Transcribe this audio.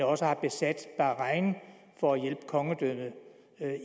også har besat bahrain for at hjælpe kongedømmet